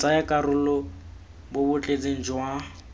botsayakarolo bo bo tletseng jwa